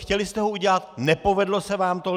Chtěli jste ho udělat, nepovedlo se vám to.